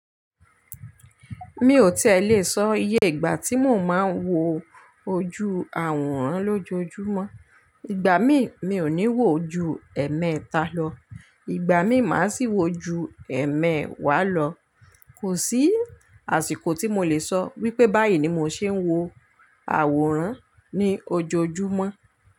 Mi ò tí è lè sọ iye ìgbà tí mò máa ń wo ojú àwòrán lójojúmọ́. Ìgbà mí, mi ò ní wò ó ju ẹ̀ẹ̀mẹta lọ, ìgbà mí, màá sì wò ó ju ẹ̀ẹ̀mẹ́wàá lọ. Kò sí àsìkò tí mo lè sọ wípé báyìí ni mò ṣé ń wo àwòrán ní ojoojúmọ́